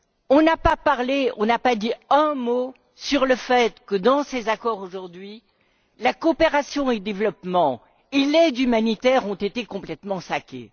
On n'a pas dit un mot sur le fait que, dans ces accords aujourd'hui, la coopération au développement et l'aide humanitaire ont été complètement sapées.